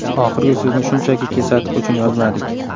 Oxirgi so‘zni shunchaki kesatiq uchun yozmadik.